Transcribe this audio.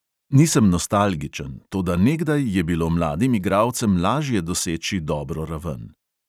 Nisem nostalgičen, toda nekdaj je bilo mladim igralcem lažje doseči dobro raven.